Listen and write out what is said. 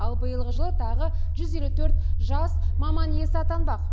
ал биылғы жылы тағы жүз елу төрт жас маман иесі атанбақ